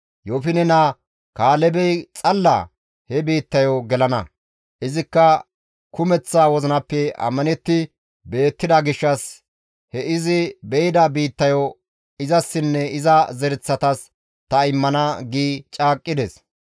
Yoofine naa Kaalebey xalla he biittayo gelana; izikka kumeththa wozinappe ammanetti beettida gishshas he izi be7ida biittayo izassinne iza zereththatas ta immana› gi caaqqides.